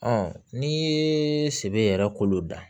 n'i ye sebe yɛrɛ kolo dan